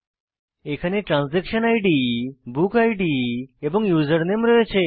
এখানে transaction ID book ID এবং username রয়েছে